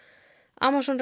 Amazon